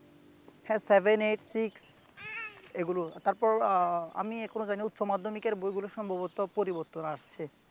হে seven six eight এইগুলা, তারপর আহ আমি এখনও জানি না উচ্চমাধ্যমিকের বইগুলি সম্ভবত পরিবর্তন আসছে